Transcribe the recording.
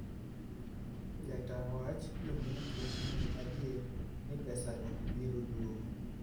Jata wach: "Jondiko nigi adier ni pesago biro duogo.